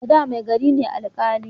A da mai gari ne alƙali